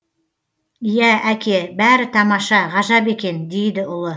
иә әке бәрі тамаша ғажап екен дейді ұлы